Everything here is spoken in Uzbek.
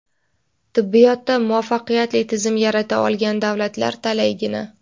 Tibbiyotda muvaffaqiyatli tizim yarata olgan davlatlar talaygina.